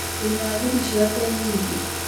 Ndĩna thiri ciake nyingĩ